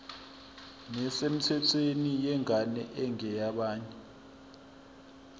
nesemthethweni yengane engeyabanye